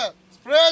Bayramla!